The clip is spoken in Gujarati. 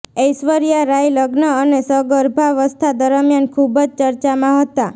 ઐશ્વર્યા રાય લગ્ન અને સગર્ભાવસ્થા દરમિયાન ખૂબ જ ચર્ચામાં હતાં